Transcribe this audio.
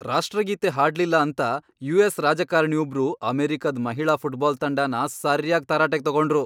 ರಾಷ್ಟ್ರಗೀತೆ ಹಾಡ್ಲಿಲ್ಲ ಅಂತ ಯು.ಎಸ್. ರಾಜಕಾರ್ಣಿ ಒಬ್ರು ಅಮೆರಿಕದ್ ಮಹಿಳಾ ಫುಟ್ಬಾಲ್ ತಂಡನ ಸರ್ಯಾಗ್ ತರಾಟೆಗ್ ತಗೊಂಡ್ರು.